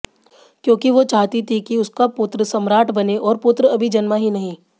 क्योंकि वो चाहती थी कि उसका पुत्र सम्राट बने और पुत्र अभी जन्मा ही नहीं